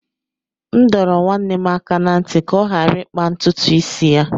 M dọrọ nwanne m aka ná ntị ka ọ ghara ịkpa ntutu isi ya